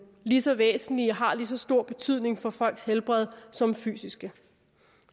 lige så væsentlige og har lige så stor betydning for folks helbred som fysiske